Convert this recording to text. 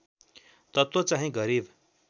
तत्त्व चाहिँ गरिब